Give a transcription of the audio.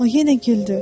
O yenə güldü.